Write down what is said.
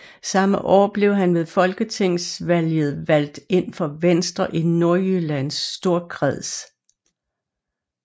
Samme år blev han ved Folketingsvalget valgt ind for Venstre i Nordjyllands Storkreds